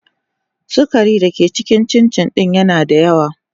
sugari da ke cikin cincin din yana da yawa.